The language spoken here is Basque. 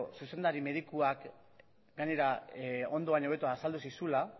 zuzendari medikuak gainera ondo baino hobeto azaldu zizuela